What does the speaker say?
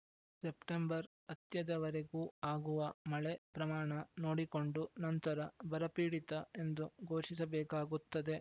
September ಅತ್ಯದವರೆಗೂ ಆಗುವ ಮಳೆ ಪ್ರಮಾಣ ನೋಡಿಕೊಂಡು ನಂತರ ಬರಪೀಡಿತ ಎಂದು ಘೋಷಿಸಬೇಕಾಗುತ್ತದೆ